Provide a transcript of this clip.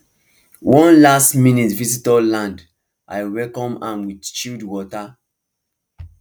one lastminute visitor land i welcome am with chilled water